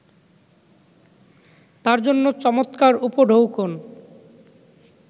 তার জন্য চমৎকার উপঢৌকন